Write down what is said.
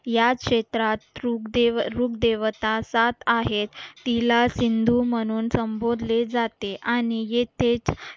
याच क्षेत्रात तृप देव रूप देवता सात आहेत तिला सिंधू म्हणून संबोधले जाते